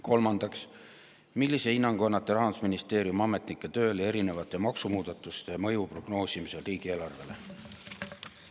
Kolmandaks: "Millise hinnangu annate Rahandusministeeriumi ametnike tööle erinevate maksumuudatuste mõju prognoosimisel riigieelarvele?